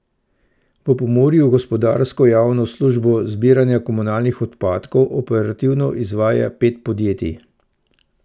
V Pomurju gospodarsko javno službo zbiranja komunalnih odpadkov operativno izvaja pet podjetij.